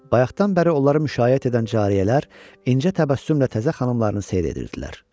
Bayaqdan bəri onları müşayiət edən cariyələr incə təbəssümlə təzə xanımlarını seyr edirdilər.